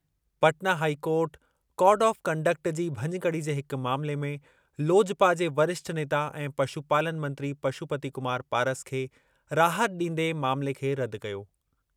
Patna high court code of conduct जी भञकड़ी जे हिक मामले में लोजपा जे वरिष्ठ नेता ऐं पशुपालन मंत्री पशुपति कुमार पारस खे राहत ॾींदे मामले खे रदि कयो।